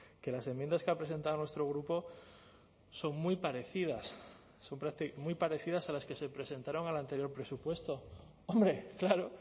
que las enmiendas que ha presentado nuestro grupo son muy parecidas muy parecidas a las que se presentaron al anterior presupuesto hombre claro